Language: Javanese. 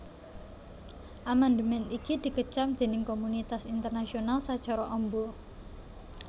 Amandemèn iki dikecam déning komunitas internasional sacara amba